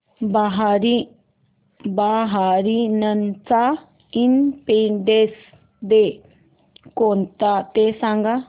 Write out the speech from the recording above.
बहारीनचा independence day कोणता ते सांगा